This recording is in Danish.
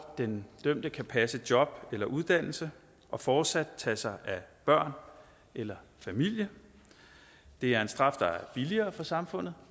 den dømte kan passe et job eller en uddannelse og fortsat tage sig af børn eller familie det er en straf der er billigere for samfundet